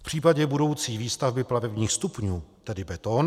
V případě budoucí výstavby plavebních stupňů tedy beton...